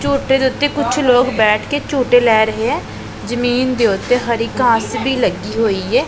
ਝੂਟੇ ਦੇ ਉੱਤੇ ਕੁਝ ਲੋਕ ਬੈਠ ਕੇ ਝੂਟੇ ਲੈ ਰਹੇ ਹ ਜਮੀਨ ਦੇ ਓਤੇ ਹਰੀ ਘਾਸ ਵੀ ਲੱਗੀ ਹੋਈ ਹੈ।